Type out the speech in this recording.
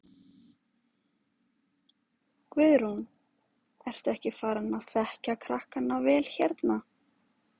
Guðrún: Ertu ekki farin að þekkja krakkana vel hérna?